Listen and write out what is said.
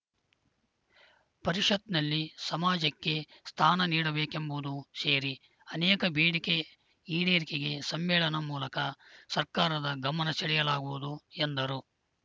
ಪರಿಷತ್‌ನಲ್ಲಿ ಸಮಾಜಕ್ಕೆ ಸ್ಥಾನ ನೀಡಬೇಕೆಂಬುದು ಸೇರಿ ಅನೇಕ ಬೇಡಿಕೆ ಈಡೇರಿಕೆಗೆ ಸಮ್ಮೇಳನ ಮೂಲಕ ಸರ್ಕಾರದ ಗಮನ ಸೆಳೆಯಲಾಗುವುದು ಎಂದರು